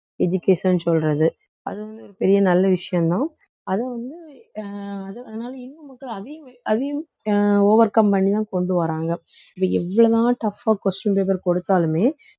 education சொல்றது அது வந்து ஒரு பெரிய நல்ல விஷயம்தான் அதை வந்து அஹ் அதனால இன்னும் மட்டும் அதையும் அதையும் அஹ் overcome பண்ணிதான் கொண்டு வர்றாங்க இது எவ்வளவு தான் tough ஆ question paper கொடுத்தாலுமே